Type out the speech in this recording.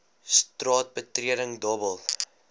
straat betreding dobbel